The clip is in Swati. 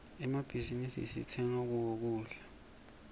emmabhizinisi sitsenga kuwo kudla